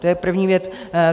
To je první věc.